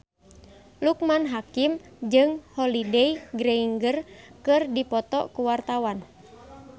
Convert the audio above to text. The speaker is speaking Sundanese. Loekman Hakim jeung Holliday Grainger keur dipoto ku wartawan